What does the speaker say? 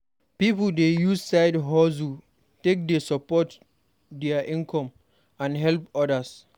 Pipo dey use side-hustles take dey support dia income and help odas.